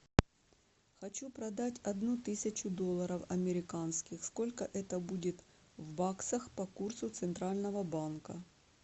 хочу продать одну тысячу долларов американских сколько это будет в баксах по курсу центрального банка